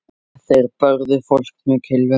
Þeir börðu fólk með kylfum.